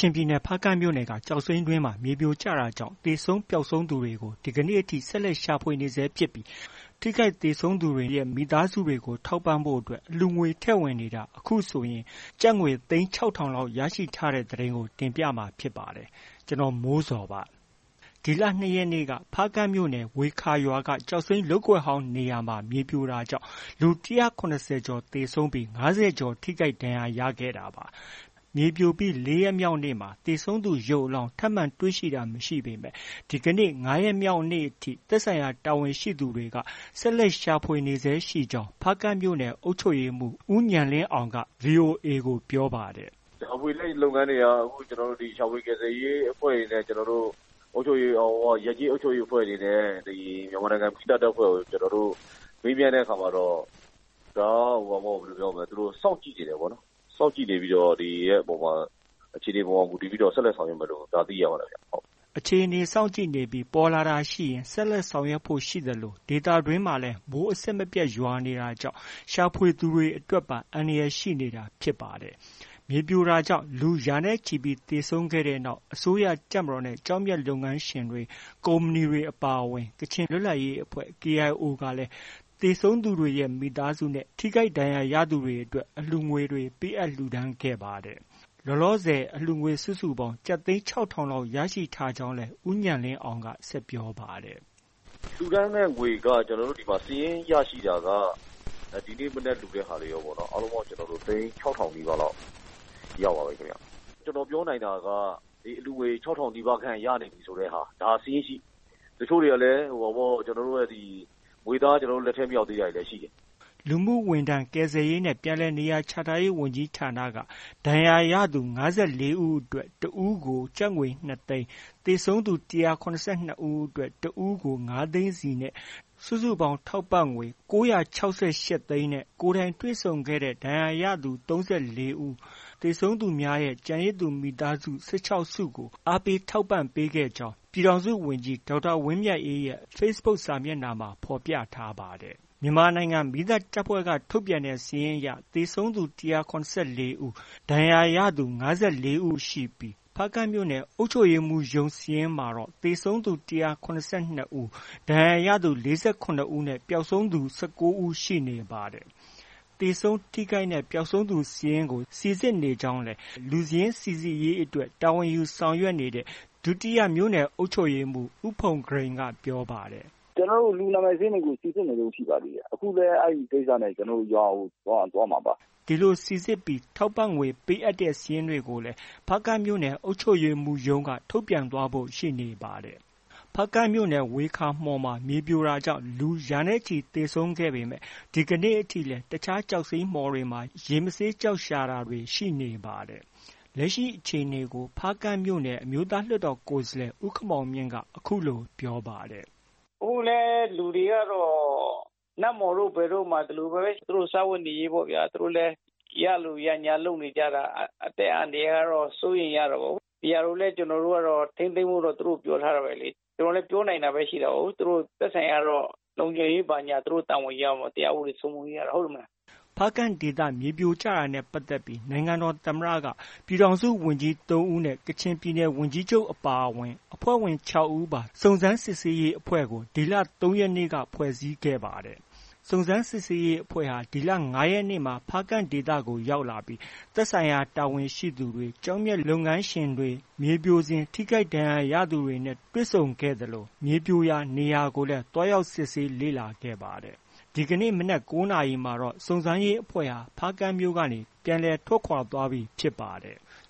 ျင်ပြည်နယ် ဖားကန့်မြို့နယ်က ကျောက်စိမ်းတွင်းမှာ မြေစာပုံပြိုကျမှုကြောင့် သေဆုံးပျောက်ဆုံးသူတွေကို ဒီကနေ့ထိ ဆက်လက် ရှာဖွေနေဆဲဖြစ်ပြီး ထိခိုက်သေဆုံးသူတွေနဲ့ မိသားစုတွေကို ထောက်ပံ့ဖို့ အလှူငွေထည့်ဝင်နေတာ အခုဆိုရင် ကျပ် သိန်း ၆,၀၀၀ လောက် ရရှိထားတဲ့ သတင်းကို တင်ပြမှာ ဖြစ်ပါတယ်။ ဗွီအိုအေမြန်မာပိုင်းသတင်းထောက် ကိုမိုးဇော်က သတင်းပေးပို့ထားပါတယ်။ ဒီလ ၂ ရက်နေ့က မြေပြိုမှုကြောင့် ဖားကန့်မြို့နယ် ဝှေခါရွာက ကျောက်လုပ်ကွက်ဟောင်းနေရာ မြေပြိုကျတာကြောင့် လူ ၁၇၀ ကျော် သေဆုံးပြီး ၅၀ ကျော် ထိခိုက်ဒဏ်ရာရခဲ့တာပါ။ မြေပြိုပြီး ၄ ရက်မြောက်နေ့မှာ သေဆုံးသူ ရုပ်အလောင်း ထပ်မံတွေ့ရှိတာ မရှိခဲ့ပေမဲ့ ဒီကနေ့ ၅ ရက်မြောက်နေ့အထိမှာ သက်ဆိုင်ရာ တာဝန်ရှိသူတွေက ဆက်လက်ရှာဖွေနေဆဲဖြစ်ကြောင်း ဖားကန့်မြို့နယ် အုပ်ချုပ်ရေးမှူး ဦးဉာဏ်လင်းအောင်က VOA ကို ပြောပါတယ်။ “ရှာဖွေရေးလုပ်ငန်းတွေက အခု ရှာဖွေ ကယ်ဆယ်ရေးအဖွဲ့တွေနဲ့ ရပ်ကျေးအုပ်ချုပ်ရေးအဖွဲ့တွေနဲ့ မြန်မာနိုင်ငံ မီးသတ်တပ်ဖွဲ့ကို မေးမြန်းတဲ့အခါမှာတော့ သူတို့ စောင့်ကြည့်နေတယ်ပေါ့။ စောင့်ကြည့်ပြီးတော့ အခြေအနေပေါ်မှာ မူတည်ပြီး ဆက်လက် ဆောင်ရွက်မယ်လို့ ကြားသိရပါတယ်။” အခြေအနေ စောင့်ကြည့်နေပြီး ပေါ်လာတာရှိရင် ဆက်လက်ဆောင်ရွက်ဖို့ ရှိသလို ဒေသတွင်းမှာလည်း မိုးအဆက်မပြတ်ရွာနေတာကြောင့် ရှာဖွေသူတွေအတွက်ပါ အန္တရာယ်ရှိနေတာဖြစ်ပါတယ်။ မြေပြိုကျတာကြောင့် လူရာနဲ့ချီ သေဆုံးခဲ့တဲ့နောက် အစိုးရ၊ တပ်မတော်နဲ့ ကျောက်မျက်လုပ်ငန်းရှင်တွေ၊ ကုမ္ပဏီတွေအပါအဝင် ကချင်ပြည်နယ်လွတ်လပ်ရေးအဖွဲ့ KIO ကလည်း သေဆုံးသူတွေရဲ့ မိသားစုနဲ့ ထိခိုက်ဒဏ်ရာရသူတွေအတွက် အလှုငွေတွေ ပေးအပ်လှူဒါန်းခဲ့ကြပါတယ်။ လောလောဆယ် အလှုငွေ စုစုပေါင်း သိန်း ၆,၀၀၀ လောက် ရရှိထားကြောင်းလည်း ဦးဉာဏ်လင်းအောင်က ဆက်ပြောပါတယ်။ “လှူဒါန်းတဲ့ငွေက အခုဒီမှာ စာရင်း ရရှိတာက ဒီနေ့ မနက်လှူတဲ့ဟာတွေရောပေါ့နော်။ အားလုံးပေါင်း ကျနော်တို့ သိန်း ၆,၀၀၀ ပါးလောက် ရပါပြီခင်ဗျ။ ကျနော်ပြောနိုင်တာက အလှုငွေ ၆,၀၀၀ နီးပါးခန့်ရနေပြီဆိုတဲ့ဟာ။ ဒါက စာရင်းရှိ။ တချို့တွေကလည်း ငွေသား ကျနော်တို့ လက်ထဲ မရောက်သေးတာတွေလည်းရှိတယ်။” လူမှုဝန်ထမ်း၊ ကယ်ဆယ်ရေးနဲ့ ပြန်လည်နေရာချထားရေးဝန်ကြီးဌာနက ဒဏ်ရာရသူ ၅၄ ဦးအတွက် တစ်ဦးကို ကျပ်ငွေ ၂၀၀,၀၀၀၊ သေဆုံးသူ ၁၇၂ ဦးအတွက် တစ်ဦးအတွက် ၅၀၀,၀၀၀ စီ စုစုပေါင်း ထောက်ပံ့ငွေကျပ် ၉၆၈ သိန်းနဲ့ ကိုယ်တိုင်တွေ့ဆုံခဲ့တဲ့ ဒဏ်ရာရသူ ၃၄ ဦး၊ သေဆုံးသူများရဲ့ ကျန်ရစ်သူမိသားစု ၁၆ စုကို အားပေးထောက်ပံ့ပေးခဲ့ကြောင်း ပြည်ထောင်စုဝန်ကြီး ဒေါက်တာဝင်းမြတ်အေးရဲ့ Facebook စာမျက်နှာမှာ ဖော်ပြထားပါတယ်။ မြန်မာနိုင်ငံမီးသတ်တပ်ဖွဲ့က ထုတ်ပြန်တဲ့စာရင်းအရ သေဆုံးသူ ၁၇၄ ဦး၊ ဒဏ်ရာရသူ ၅၄ ဦး နေပြီး ဖားကန့်မြို့နယ် အုပ်ချုပ်ရေးမှူးစာရင်းမှာတော့ သေဆုံးသူ ၁၇၂ ဦး၊ ဒဏ်ရာရသူ ၄၇ ဦးနဲ့ ပျောက်ဆုံး သူ ၁၉ ဦးရှိနေပါတယ်။ သေဆုံး၊ ထိခိုက်နဲ့ ပျောက်ဆုံးစာရင်းတွေကို စိစစ်နေကြောင်းလည်း လူစာရင်းစိစစ်ရေးအတွက် တာဝန်ယူဆောင်ရွက်နေတဲ့ ဒုတိယမြို့နယ် အုပ်ချုပ်ရေးမှူး ဦးဖုန်ဂရိန်က ပြောပါတယ်။ “ကျနော်တို့ လူနာမည် စာရင်းတွေကို စိစစ်နေပါတယ်။ အခုလည်း အဲဒီကိစ္စနဲ့ ရွာကို သွားမှာပါ။” ဒီလိုစိစစ်ပြီး ထောက်ပံံ့ငွေ ပေးအပ်တဲ့စာရင်းတွေကိုလည်း ဖားကန့်မြို့နယ် အုပ်ချုပ်ရေးမှူးရုံးက ထုတ်ပြန်သွားဖို့ ရှိနေပါတယ်။ ဖားကန့်မြို့နယ် ဝှေခါမှော်မှာ မြေပြိုတာကြောင့် လူရာချီသေဆုံးခဲ့ပေမဲ့ ဒီကနေ့အထိလည်း တခြားကျောက်စိမ်းမှော်တွေမှာ ရေမဆေးကျောက်ရှာတာတွေ ရှိနေသေးပါတယ်။ လက်ရှိအခြေအနေကိုဖားကန့်မြို့နယ် အမျိုးသားလွှတ်တော် ကိုယ်စားလှယ် ဦးခင်မောင်မြင့်က အခုလို ပြောပါတယ်။ “အခုလည်း လူတွေကတော့ နတ်မှော်တို့ ဘယ်တို့မှာ ဒီလိုပဲ သူတို့ စားဝတ်နေရေးအတွက် ရလိုရငြားလုပ်နေကြတာ။ အသက်အန္တရာယ်ကတော့ စိုးရိမ်ရတာပေါ့။ ဒီဟာကိုလည်း ထိန်းသိမ်းဖို့တော့ ကျနော်တို့လည်း ပြောထားတာပဲ။ ကျနော်တို့လည်း ပြောနိုင်တာပဲ ရှိတာကိုး။ သူတို့ သက်ဆိုင်ရာကတော့ လုံခြုံရေးဘာညာ သူတို့ တာဝန်ယူရမှာပေါ့။ တရားဥပဒေ စိုးမိုးရေးကတော့ ဟုတ်တယ်မဟုတ်လား။” ဖားကန့်ဒေသ မြေပြိုကျတာနဲ့ ပတ်သက်ပြီး နိုင်ငံတော်သမ္မတက ပြည်ထောင်စုဝန်ကြီး ၃ဦးနဲ့ ကချင်ပြည်နယ် ဝန်ကြီးချုပ်အပါအဝင် အဖွဲ့ဝင် ၆ ဦးပါ စုံစမ်းစစ်ဆေးရေးအဖွဲ့ကို ဒီလ ၃ ရက်နေ့ကဖွဲ့စည်းခဲ့ပါတယ်။ စုံစမ်းစစ်ဆေးရေးအဖွဲ့ဟာ ဒီလ ၅ ရက်နေ့မှာ ဖားကန့်ဒေသကို လာရောက်ပြီး သက်ဆိုင်ရာ တာဝန်ရှိသူတွေ၊ ကျောက်မျက်လုပ်ငန်းရှင်တွေနဲ့ မြေပြိုစဉ် ထိခိုက်သူတွေနဲ့ တွေ့ဆုံခဲ့သလို မြေပြိုရာ နေရာကိုလည်း သွားရောက်စစ်ဆေးလေ့လာခဲ့ပါတယ်။ ဒီကနေ့ မနက် ၉ နာရီမှာတော့ စုံစမ်းစစ်ဆေးရေးအဖွဲ့ဟာ ဖားကန့်မြို့ကနေ ပြန်လည် ထွက်ခွာသွားပြီဖြစ်ပါတယ်။